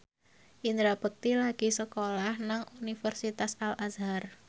Indra Bekti lagi sekolah nang Universitas Al Azhar